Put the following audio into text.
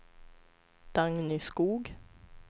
Dagny Skoog